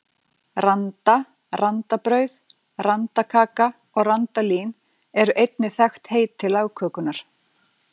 Randa, randabrauð, randakaka og randalín eru einnig þekkt heiti lagkökunnar.